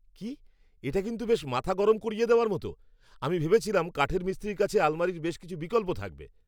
কি? এটা কিন্তু বেশ মাথা গরম করিয়ে দেওয়ার মতো! আমি ভেবেছিলাম কাঠের মিস্ত্রির কাছে আলমারির বেশ কিছু বিকল্প থাকবে!